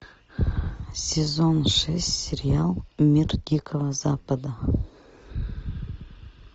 сезон шесть сериал мир дикого запада